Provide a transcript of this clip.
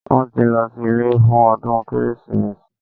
Wọ́n tí lọ sí ilé fún ọdún Kérésìmesì